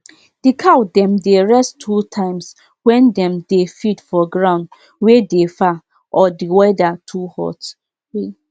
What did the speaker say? we welcome people wey dey train animal from village wey dey close make dem use our farm after dem don go get approval